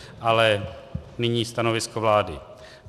Ale nyní stanovisko vlády.